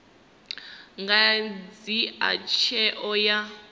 nga dzhia tsheo ya u